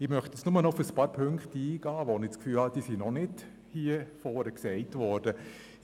Ich möchte nun noch auf ein paar Punkte eingehen, bei denen ich den Eindruck habe, dass sie hier vorne noch nicht genannt worden sind.